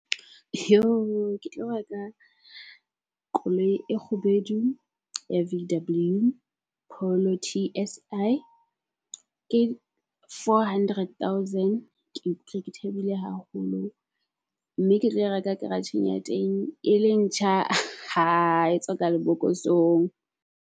Ke tlo reka koloi e kgubedu ya V_W Polo T_S_I, ke four hundred thousand. Ke ikutlwa ke thabile haholo mme ke tlo e reka garage-eng ya teng e le ntjha, e tswa ka lebokosong.